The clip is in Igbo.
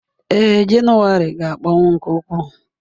Ee, Jenụwarị ga-akpọnwụ nke ukwuu.